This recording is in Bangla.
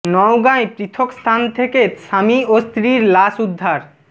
নওগাঁয় পৃথক স্থান থেকে স্বামী ও স্ত্রীর লাশ উদ্ধার